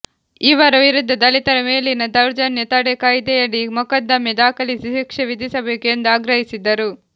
ಇವರ ವಿರುದ್ಧ ದಲಿತರ ಮೇಲಿನ ದೌರ್ಜನ್ಯ ತಡೆ ಕಾಯ್ದೆಯಡಿ ಮೊಕದ್ದಮೆ ದಾಖಲಿಸಿ ಶಿಕ್ಷೆ ವಿಧಿಸಬೇಕು ಎಂದು ಆಗ್ರಹಿಸಿದರು